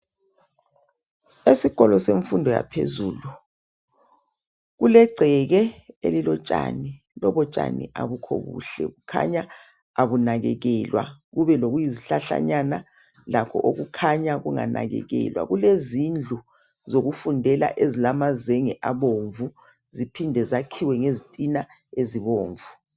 Esikolo semfundo yaphezulu kulegceke elilotshani, lobo tshani abubuhle, kukhanya abunakekelwa kube lokuyizihlahlanyana lakho okukhanya kunganakekelwa. Kulezindlu zokufundela ezilamazenge abomvu, ziphinde zakhiwe ngezitina ezibomvu.